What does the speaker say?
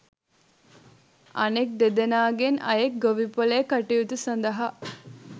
අනෙක් දෙදෙනාගෙන් අයෙක් ගොවිපොළේ කටයුතු සඳහා